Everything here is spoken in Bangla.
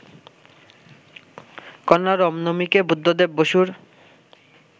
কন্যা রম্নমিকে বুদ্ধদেব বসুর